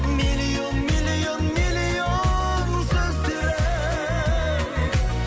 миллион миллион миллион сөздері